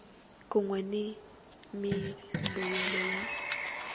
kun we ni mimbuyelo ya